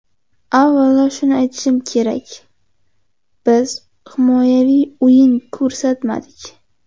Avvalo shuni aytishim kerak, biz himoyaviy o‘yin ko‘rsatmadik.